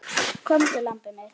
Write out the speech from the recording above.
Komdu, lambið mitt.